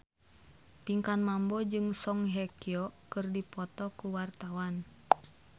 Pinkan Mambo jeung Song Hye Kyo keur dipoto ku wartawan